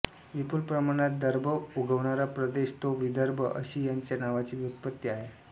विपुल प्रमाणात दर्भ उगवणारा प्रदेश तो विदर्भ अशी याच्या नावाची व्युत्पत्ती आहे